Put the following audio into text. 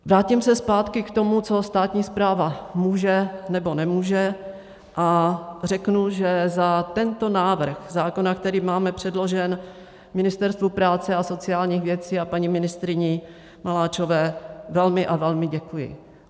Vrátím se zpátky k tomu, co státní správa může nebo nemůže, a řeknu, že za tento návrh zákona, který máme předložen, Ministerstvu práce a sociálních věcí a paní ministryní Maláčové velmi a velmi děkuji.